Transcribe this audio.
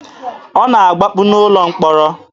Ọ na-agbapụ n'ụlọ mkpọrọ.